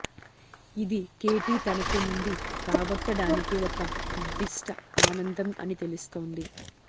ఇది కేటీ తనకు నుండి రాబట్టడానికి ఒక నిర్దిష్ట ఆనందం అని తెలుస్తోంది